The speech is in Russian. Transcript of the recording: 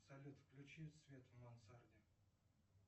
салют включи свет в мансарде